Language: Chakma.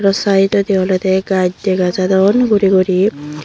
oh saidodi olodey gach dega jadon guri guri.